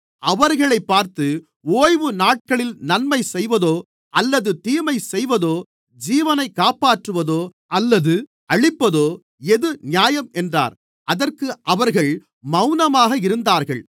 அவர்களைப் பார்த்து ஓய்வுநாட்களில் நன்மை செய்வதோ அல்லது தீமை செய்வதோ ஜீவனைக் காப்பாற்றுவதோ அல்லது அழிப்பதோ எது நியாயம் என்றார் அதற்கு அவர்கள் மவுனமாக இருந்தார்கள்